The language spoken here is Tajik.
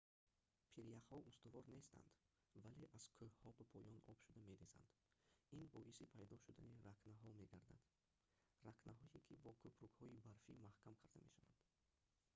пиряхҳо устувор нестанд вале аз кӯҳҳо ба поён об шуда мерезанд ин боиси пайдо шудани рахнаҳо мегардад рахнаҳое ки бо кӯпрукҳои барфӣ маҳкам карда мешаванд